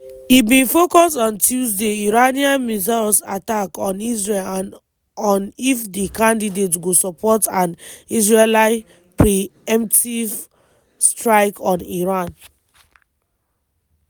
e bin focus on tuesday iranian missile attack on israel and on if di candidates go support an israeli pre-emptive strike on iran.